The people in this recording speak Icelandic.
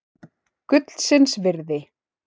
Gullsins virði.